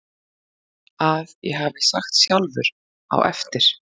að ég hafi sagt sjálfur á eftir